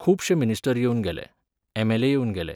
खुबशे मिनिस्टर येवन गेले, एमएलए येवन गेले.